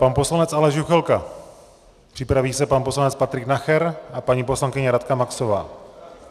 Pan poslanec Aleš Juchelka, připraví se pan poslanec Patrik Nacher a paní poslankyně Radka Maxová.